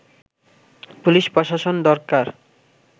police প্রশাসন দরকার